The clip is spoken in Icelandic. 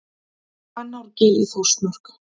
Hvannárgil í Þórsmörk.